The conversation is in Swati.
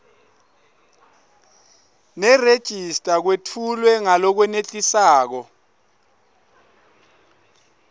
nerejista kwetfulwe ngalokwenetisako